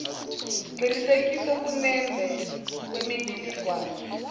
qinisekisa ukunemba kwemininingwane